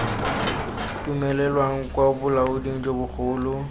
dumelelwang kwa bolaoding jo bogolo